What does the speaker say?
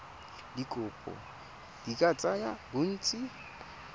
dikopo di ka tsaya bontsi